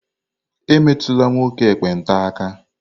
Emetula nwoke ekpenta aka!